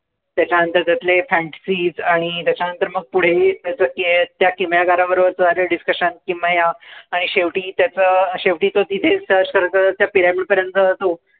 त्याच्यानंतर त्यातले fantasies आणि त्याच्यानंतर मग पुढे त्याचं ते त्या किमयागाराबरोबरचं झालेलं discussion किमया आणि शेवटी त्याचं, शेवटी तो तिथेच त्या pyramid पर्यंत